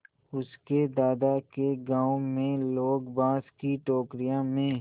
उसके दादा के गाँव में लोग बाँस की टोकरियों में